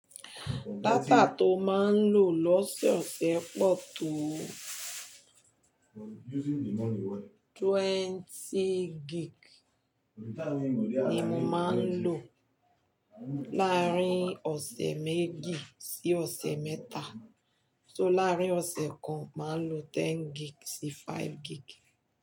Data to maa n lo lọ́sẹ̀ ọ̀sẹ̀ pọ̀ to? Twenty gig ni mo máa ń lò láàárín ọ̀sẹ̀ méjì sí ọ̀sẹ̀ mẹ́ta, so láàárín ọ̀sẹ̀ kan máa ń lò ten gig sí five gig.